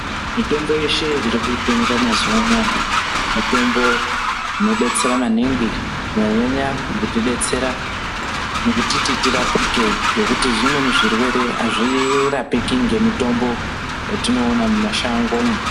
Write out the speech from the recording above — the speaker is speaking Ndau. Mitombo yeshe iri kutengwa mazuva anaya, mitombo inodetsera maningi, kunyanya-nyanya mukutidetsera mukutiti tirapike ,ngekuti zvimweni zvirwere azvirapike ngemitombo yatinoona mumashangomo.